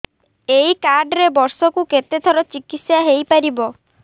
ଏଇ କାର୍ଡ ରେ ବର୍ଷକୁ କେତେ ଥର ଚିକିତ୍ସା ହେଇପାରିବ